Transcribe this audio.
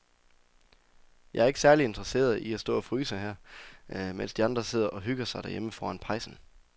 Jeg er ikke særlig interesseret i at stå og fryse her, mens de andre sidder og hygger sig derhjemme foran pejsen.